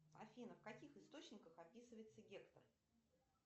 афина в каких источниках описывается гектор